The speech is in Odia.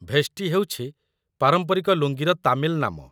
ଭେଷ୍ଟି ହେଉଛି ପାରମ୍ପରିକ ଲୁଙ୍ଗିର ତାମିଲ ନାମ